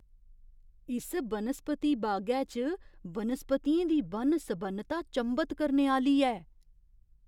इस बनस्पति बागै च बनस्पतियें दी बन्न सबन्नता चंभत करने आह्‌ली ऐ!